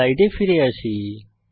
স্লাইডে ফিরে আসি